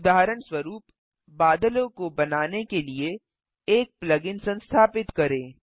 उदाहरणस्वरूप बादलों को बनाने के लिए एक प्लग इन संस्थापित करें